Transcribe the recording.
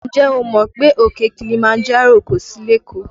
Ǹjẹ́ o mọ̀ pé òkè Kilimanjaro kò sí lékòó?